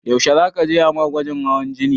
Yaushe za ka je a ma gwajin hawan jini?